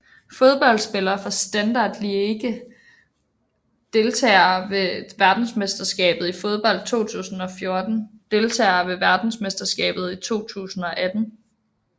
Fodboldspillere fra Standard Liège Deltagere ved verdensmesterskabet i fodbold 2014 Deltagere ved verdensmesterskabet i fodbold 2018